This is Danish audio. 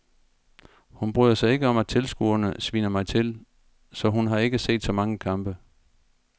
Hun bryder sig ikke om at tilskuerne sviner mig til, så hun har ikke set så mange kampe.